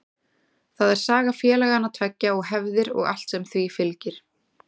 Það er saga félagana tveggja og hefðir og allt sem því fylgir.